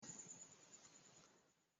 Lo parasitámọ̀ náà nísìnyìí.